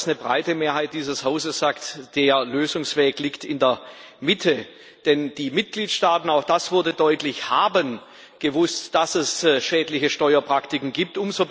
Eine breite Mehrheit dieses Hauses sagt, der Lösungsweg liegt in der Mitte, denn die Mitgliedstaaten auch das wurde deutlich haben gewusst, dass es schädliche Steuerpraktiken gibt.